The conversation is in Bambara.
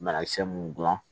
Banakisɛ mun dilan